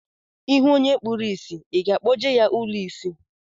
I hụ onye kpuru ìsì, I ga-akpọje ya ụlọ isi?